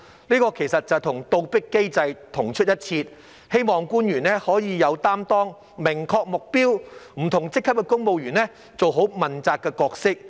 這其實與"倒逼機制"同出一轍，希望官員可以有擔當，明確目標，不同職級的公務員做好問責的角色。